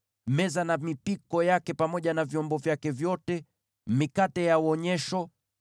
meza na mipiko yake pamoja na vyombo vyake vyote, mikate ya Wonyesho;